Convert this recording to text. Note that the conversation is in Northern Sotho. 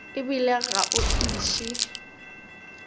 e bile ga o iše